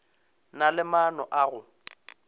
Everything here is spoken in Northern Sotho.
na le maano a go